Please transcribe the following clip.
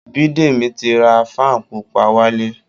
Biídemi ti ra fan pupa wálé